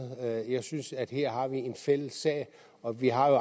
jeg synes at her har vi en fælles sag og vi har